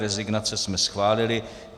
Rezignace jsme schválili.